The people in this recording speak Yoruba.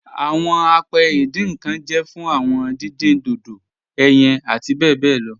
Awọn àpẹ̀ ìdìn nkan jẹ́ fún awọn dídìn dodò, ẹ̀yin àti bẹ bẹ lọ